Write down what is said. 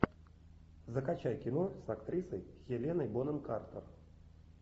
закачай кино с актрисой хеленой бонем картер